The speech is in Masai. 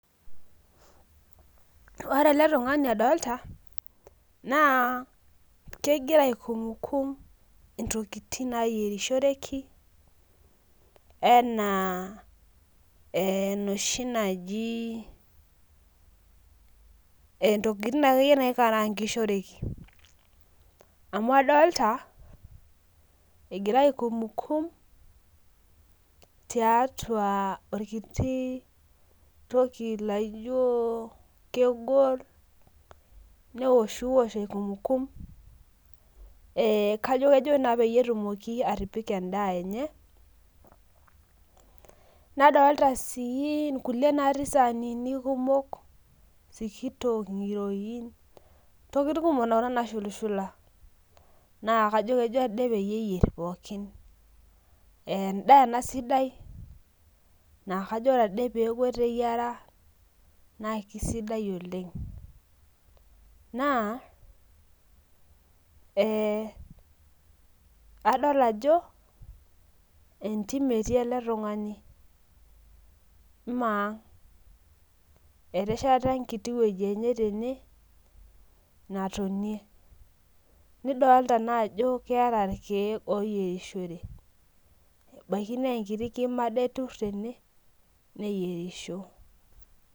Ore ele tung'ani adolta, naa kegira aikumkum intokiting nayierishoreki, enaa enoshi naji intokiting akeyie naikarankishoreki. Amu adolta, egira aikumkum tiatua orkiti toki laijo kegol newoshiwosh aikumkum kajo kejo naa peyie etumoki atipika endaa enye, nadolta si nkulie natii isaanini kumok sikitok ng'iroin ntokiting kumok nara nashulushula. Naa kajo kejo ade peyie eyier pookin. Endaa ena sidai na kajo ore ade peku eteyiara na kisaidia oleng. Naa, adol ajo, entim etii ele tung'ani. Maa ang'. Etesheta enkiti woji enye tene, natonie. Nidolta najo keeta irkeek loyierishore. Ebaiki nenkiti kima ade etur tene, neyierisho.